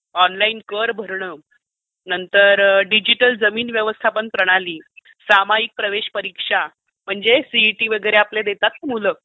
Online कर भरणे, नंतर डिजिटल जमीन व्यवस्थापन प्रणाली, सामायिक प्रवेश परीक्षा म्हणजे सिईटी वगैरे आपली देतात ना मुलं.